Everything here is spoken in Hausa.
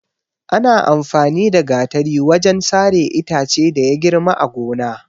Ana amfani da Gatari wajen sare itace da ya girma a gona.